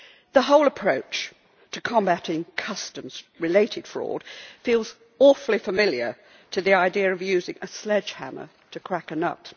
The whole approach to combating customs related fraud feels awfully similar to the idea of using a sledgehammer to crack a nut.